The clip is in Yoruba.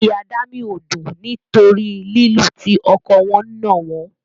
Inú Ìyá Dámì ò dùn nítorí lílu tí ọkọ wọn nà wọ́n.